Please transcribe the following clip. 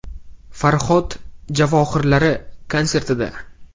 “‘Farhod’ javohirlari” konsertida.